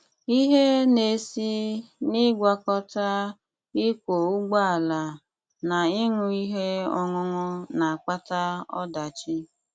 Ihe na-esi n'ịgwakọta ịkwọ ụgbọala na ịṅụ ihe ọṅụṅụ na-akpata ọdachi.